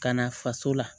Ka na faso la